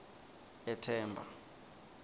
ethemba